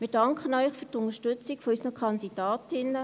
Wir danken Ihnen für die Unterstützung unserer Kandidatinnen.